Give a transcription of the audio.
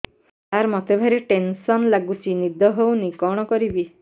ସାର ମତେ ଭାରି ଟେନ୍ସନ୍ ଲାଗୁଚି ନିଦ ହଉନି କଣ କରିବି